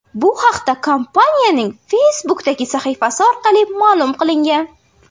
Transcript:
Bu haqda kompaniyaning Facebook’dagi sahifasi orqali ma’lum qilingan .